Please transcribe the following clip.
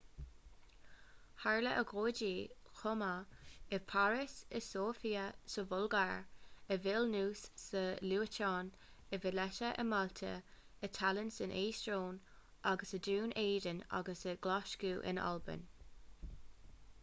tharla agóidí chomh maith i bpáras i sóifia sa bhulgáir i vilnius sa liotuáin i valetta i málta i tallinn san eastóin agus i ndún éideann agus i nglaschú in albain